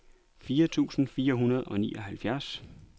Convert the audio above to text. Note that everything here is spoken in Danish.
fire tusind fire hundrede og nioghalvfjerds